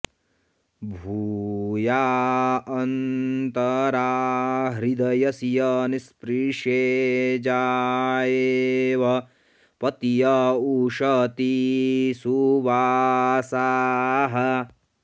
भू॒या अन्त॑रा हृ॒द्य॑स्य नि॒स्पृशे॑ जा॒येव॒ पत्य॑ उश॒ती सु॒वासाः॑